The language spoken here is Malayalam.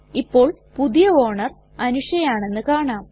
ഇപ്പോൾ പുതിയ ഓണർ അനുഷ ആണെന്ന് കാണാം